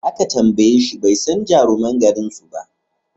Da aka tambayeshi bai san jaruman garin suba